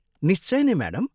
निश्चय नै, म्याडम।